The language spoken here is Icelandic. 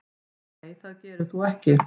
Nei það gerir þú ekki.